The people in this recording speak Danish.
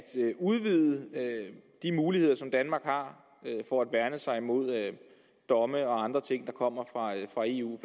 udvide de muligheder som danmark har for at værne sig imod domme og andre ting der kommer fra eu